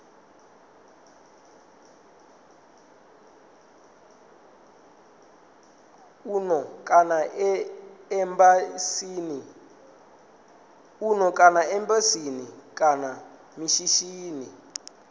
muno kana embasini kana mishinini